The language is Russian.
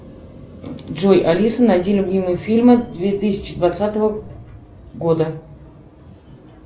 джой алиса найди любимые фильмы две тысячи двадцатого года